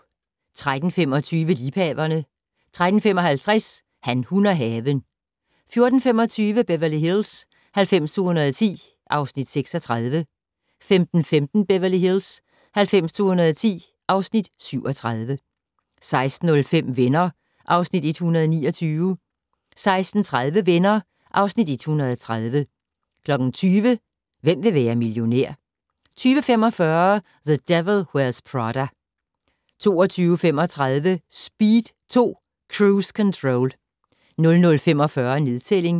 13:25: Liebhaverne 13:55: Han, hun og haven 14:25: Beverly Hills 90210 (Afs. 36) 15:15: Beverly Hills 90210 (Afs. 37) 16:05: Venner (Afs. 129) 16:30: Venner (Afs. 130) 20:00: Hvem vil være millionær? 20:45: The Devil Wears Prada 22:35: Speed 2: Cruise Control 00:45: Nedtælling